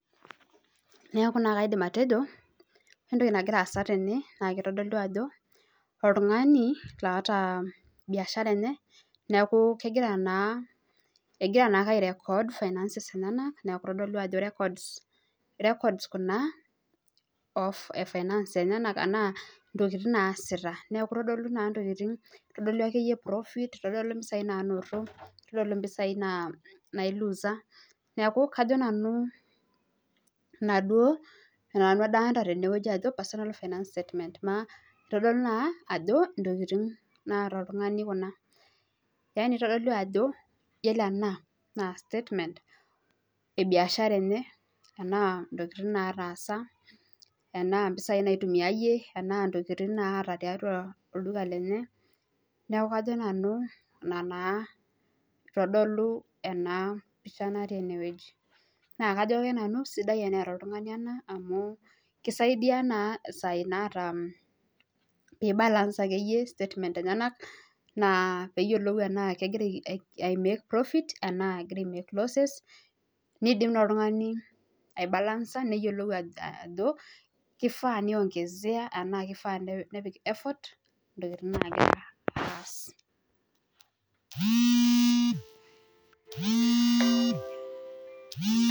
Neeku naa kaidim atejo, ore entoki nagira aasa tene naa kitodolu ajo oltung'ani loota biashara neeku kegira naa, egira naake ai record Finances enyenak neeku itodolu ajo records kuna e finances enyenak metaa intokiting naasita. Neeku kitodolu naa intokiting, itodolu akeyie profit, itodolu akeyie impesai naanoto, nitodolu impesai nailusa, neeku kajo nanu naaduo ninye adolita nanu tene ajo personal finance statement naa itodolu naa ajo intokiting naata oltung'ani kuna. yani itodolu ajo yiolo ena naa statement e biashara enye enaa intokiting, enaa nataasa, enaa impisai naitumiayie, enaa intokiting naata tiatwa olduka lenye. Neeku kajo nanu ina naa itodolu ena pisha natii ene wueji. Naa kajo ake nanu sidai ena toltung'ani ena amu kisaidia naa Isaac naata imbalance akeyie statement enyenak naa peeyiolou enaa kegira ai make profit enaa egira ai make loses neyiolou oltung'ani aibalansa neyiolou ajo kifaa neiongezea ashu kifaa nepik effort intokiting nagira aas